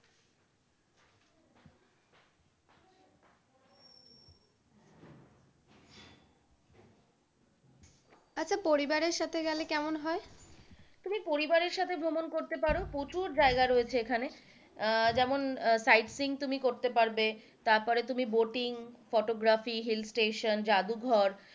আচ্ছা পরিবারের সাথে গেলে কেমন হয়? তুমি পরিবারের সাথে ভ্রমণ করতে পারো প্রচুর জায়গা রয়েছে এখানে আহ যেমন সাইড সিন তুমি করতে পারবে তারপরে তুমি বোটিং, ফোটোগ্রাফি, হিল স্টেশন, যাদুঘর,